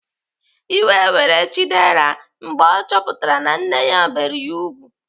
Iwe were Chidera mgbe ọ chọpụtara na nne ya bere ya ùgwù.